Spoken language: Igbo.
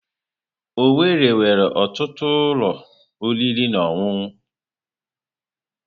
Owerri nwere ọtụtụ ụlọ oriri na ọṅụṅụ.